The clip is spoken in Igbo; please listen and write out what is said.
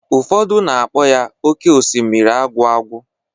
Ụfọdụ na-akpọ ya oké osimiri agwụ agwụ.